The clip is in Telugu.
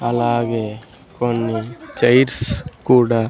అలాగే కొన్ని చైర్స్ కూడా--